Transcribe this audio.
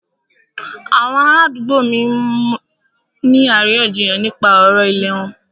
Àwọn ará àdúgbò mí ń ní àríyànjiyàn nípa ọ̀rọ̀ ìlẹ̀ wọn.